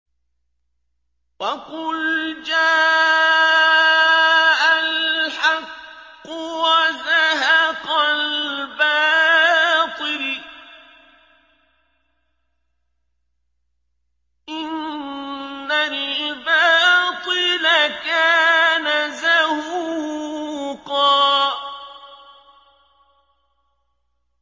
وَقُلْ جَاءَ الْحَقُّ وَزَهَقَ الْبَاطِلُ ۚ إِنَّ الْبَاطِلَ كَانَ زَهُوقًا